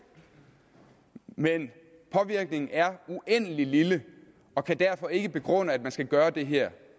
men påvirkningen er uendelig lille og kan derfor ikke begrunde at man skal gøre det her